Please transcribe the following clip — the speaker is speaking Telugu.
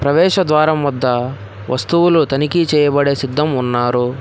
ప్రవేశ ద్వారం వద్ద వస్తువులు తనిఖీ చేయబడే సిద్ధం ఉన్నారు.